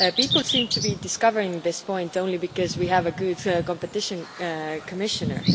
People seem to be discovering this point only because we have a good competition commissioner.